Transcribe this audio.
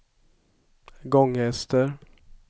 Gånghester